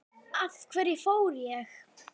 Af hverju fór ég?